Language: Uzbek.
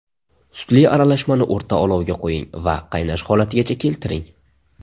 Sutli aralashmani o‘rta olovga qo‘ying va qaynash holatigacha keltiring.